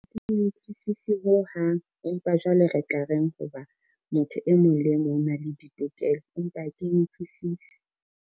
Ha ke e utlwisisi ho hang empa jwale re tla reng, ho ba motho e mong le mong o na le ditokelo, empa ha ke utlwisisi.